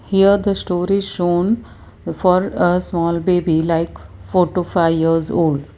here the story shown for a small baby like four to five years old.